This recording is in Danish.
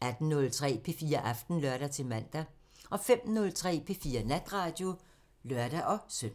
18:03: P4 Aften (lør-man) 05:03: P4 Natradio (lør-søn)